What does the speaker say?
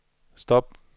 stop